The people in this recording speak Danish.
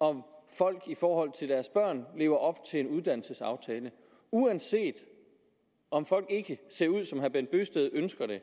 om folk i forhold til deres børn lever op til en uddannelsesaftale uanset om folk ikke ser ud som herre bent bøgsted ønsker det